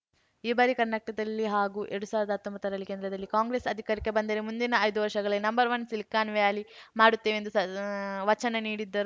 ಈ ಬಾರಿ ಕರ್ನಾಟಕದಲ್ಲಿ ಹಾಗೂ ಎರಡ್ ಸಾವಿರದ ಹತ್ತೊಂಬತ್ತರಲ್ಲಿ ಕೇಂದ್ರದಲ್ಲಿ ಕಾಂಗ್ರೆಸ್‌ ಅಧಿಕಾರಕ್ಕೆ ಬಂದರೆ ಮುಂದಿನ ಐದು ವರ್ಷದಲ್ಲಿ ನಂವನ್ ಸಿಲಿಕಾನ್‌ ವ್ಯಾಲಿ ಮಾಡುತ್ತೇವೆ ಎಂದು ವಚನ ನೀಡಿದರು